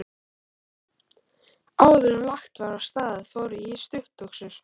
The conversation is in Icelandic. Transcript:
Áðuren lagt var af stað fór ég í stuttbuxur.